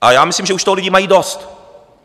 A já myslím, že už toho lidi mají dost.